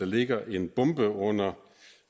ligger en bombe under